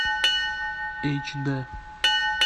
эйч дэ